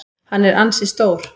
Hann er ansi stór.